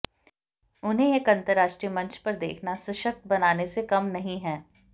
उन्हें एक अंतरराष्ट्रीय मंच पर देखना सशक्त बनाने से कम नहीं है